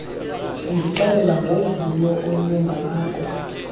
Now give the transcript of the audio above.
undixelela ngovuyo olungako